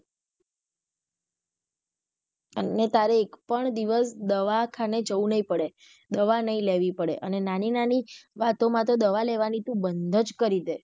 અને તારે એક પણ દિવસ દવાખાને જવું નહિ પડે દવા નહિ લેવી પડે અને નાની નાની વાતો માં તો દવા લેવાની તું બન્ધ જ કરી દે.